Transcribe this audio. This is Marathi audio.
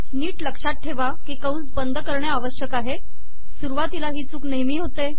नीट लक्षात ठेवा की कंस बंद करणे अावश्यक आहे सुरुवातीला ही चूक नेहमी होते